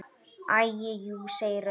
Æi jú, segir röddin.